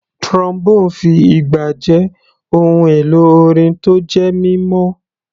Trombone fi ìgbà jẹ́ ohun èlò orin tó jẹ́ mímọ́.